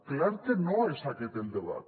clar que no és aquest el debat